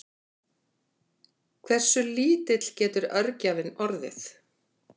Hversu lítill getur örgjörvinn orðið?